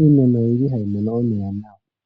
iimeno oyili hayi mono omeya nawa.